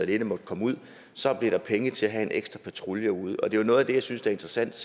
ikke måtte komme ud så blev der flere penge til at have en ekstra patrulje ude det er noget af det jeg synes er interessant